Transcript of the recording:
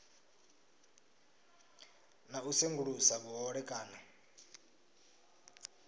na u sengulusa vhuhole kana